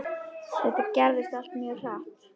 Þetta gerðist allt mjög hratt.